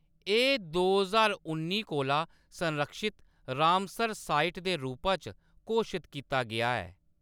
एह्‌‌ दो ज्हार उन्नी कोला संरक्षित रामसर साइट दे रूपा च घोशत कीता गेआ ऐ।